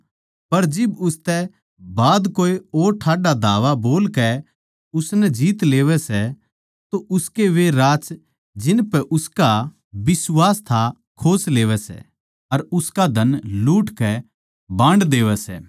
पर जिब उसतै बाध कोए और ठाड्डा धावा बोलकै उसनै जीत लेवै सै तो उसकै वे राछ जिनपै उसका बिश्वास था खोस लेवै सै अर उसका धन लुटकै बांड देवै सै